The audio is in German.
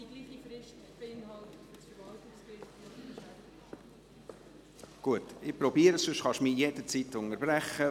Wenn es nicht in Ordnung ist, können Sie mich jederzeit unterbrechen.